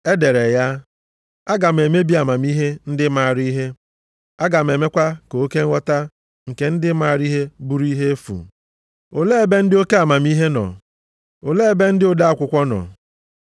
E dere ya, “Aga m emebi amamihe ndị maara ihe. Aga m emekwa ka oke nghọta nke ndị maara ihe bụrụ ihe efu.” + 1:19 \+xt Aịz 29:14\+xt*